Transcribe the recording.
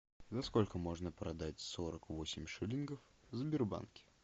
за сколько можно продать сорок восемь шиллингов в сбербанке